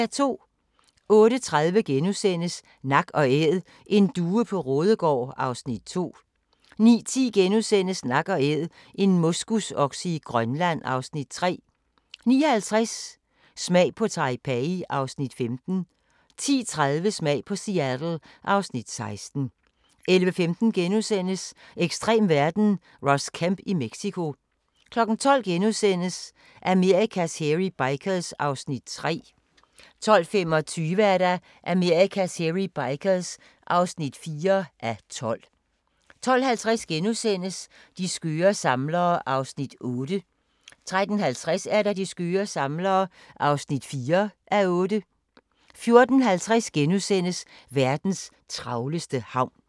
08:30: Nak & Æd: En due på Raadegaard (Afs. 2)* 09:10: Nak & Æd - en moskusokse i Grønland (Afs. 3)* 09:50: Smag på Taipei (Afs. 15) 10:30: Smag på Seattle (Afs. 16) 11:15: Ekstrem verden - Ross Kemp i Mexico * 12:00: Amerikas Hairy Bikers (3:12)* 12:25: Amerikas Hairy Bikers (4:12) 12:50: De skøre samlere (3:8)* 13:50: De skøre samlere (4:8) 14:50: Verdens travleste havn *